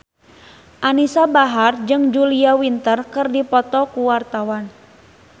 Anisa Bahar jeung Julia Winter keur dipoto ku wartawan